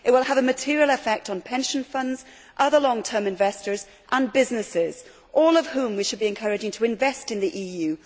It would have a material effect on pension funds, other long term investors and businesses, all of whom we should be encouraging to invest in the EU